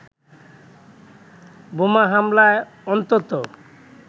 বোমা হামলায় অন্তত